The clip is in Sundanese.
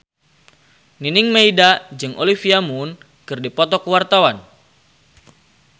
Nining Meida jeung Olivia Munn keur dipoto ku wartawan